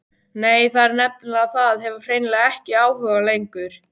Nei, það er nefnilega það, hef hreinlega ekki áhuga lengur.